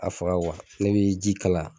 A faga ne bɛ ji kalaya